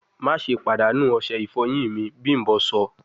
Maṣe padanu ose ifoyin mi, bimbo sọ!